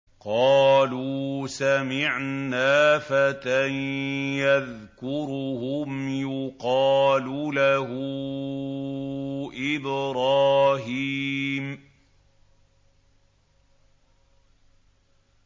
قَالُوا سَمِعْنَا فَتًى يَذْكُرُهُمْ يُقَالُ لَهُ إِبْرَاهِيمُ